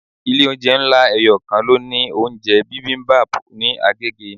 Ilé oúnjẹ ńlá eyokan ló ní oúnjẹ bibimbap ní Agege.